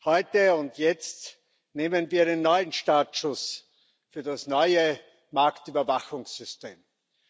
Heute und jetzt nehmen wir einen neuen Startschuss für das neue Marktüberwachungssystem vor.